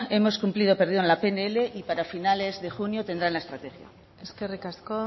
hemos cumplido perdón la pnl y para finales de junio tendrán la estrategia eskerrik asko